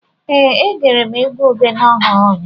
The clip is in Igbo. Ee, egere m egwu Ogene ọhụrụ ụnyahụ